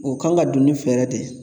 O kan ka don ni fɛɛrɛ de ye